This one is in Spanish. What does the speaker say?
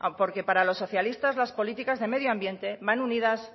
porque para los socialistas las políticas de medio ambiente van unidas